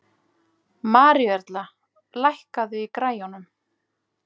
Maríuerla, lækkaðu í græjunum.